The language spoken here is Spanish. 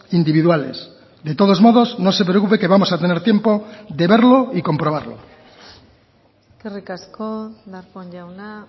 individuales de todos modos no se preocupe que vamos a tener tiempo de verlo y comprobarlo eskerrik asko darpón jauna